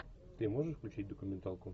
ты можешь включить документалку